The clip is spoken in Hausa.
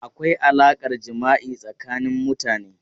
Akwai alaƙar jima'i tsakanin mutane.